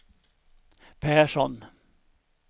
Persson